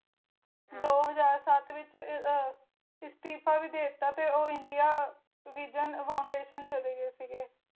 ਦੋ ਹਜਾਰ ਸਤਿ ਵਿਚ ਅਹ ਅਸਤੀਫਾ ਵੀ ਦਿਤਾ ਤੇ ਉਹ ਇੰਡੀਆ vision foundation ਚਲੇ ਗਏ ਸੀਗੇ